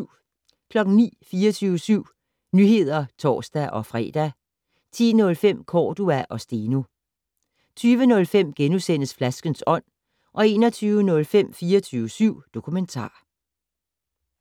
09:00: 24syv Nyheder (tor-fre) 10:05: Cordua og Steno 20:05: Flaskens ånd * 21:05: 24syv Dokumentar